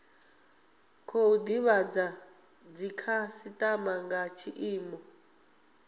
khou divhadza dzikhasitama nga tshiimo